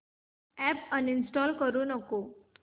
app uninstall करू नको